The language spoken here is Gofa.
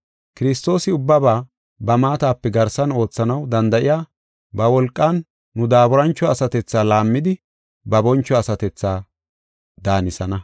Kiristoosi ubbaba ba maatape garsan oothanaw danda7iya ba wolqan nu daaburancho asatethaa laammidi ba boncho asatethaa daanisana.